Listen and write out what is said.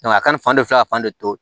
a kana fan de filɛ ka fan de to